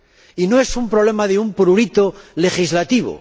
y no es un problema de un prurito legislativo.